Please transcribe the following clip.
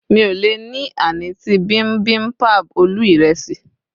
mi o le ni anıtı bimbimbap ölü iresi